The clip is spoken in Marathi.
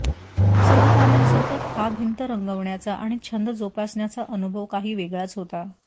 सहकाऱ्यांसोबत हा भिंत रंगवण्याचा आणि छंद जोपासण्याचा अनुभव काही वेगळाच होता